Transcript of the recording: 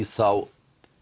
þá